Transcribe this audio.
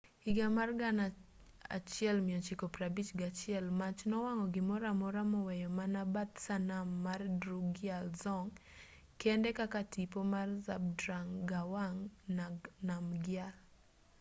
higa mar 1951 mach nowang'o gimoramora moweyo mana bath sanam mar drukgyal dzong kende kaka tipo mar zhabdrung ngawang namgyal